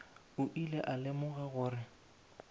o ile a lemoga gore